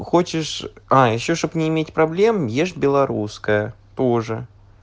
хочешь а ещё чтобы не иметь проблем ешь белорусское тоже